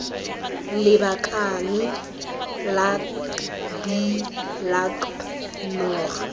lakabane lak bi lakab noga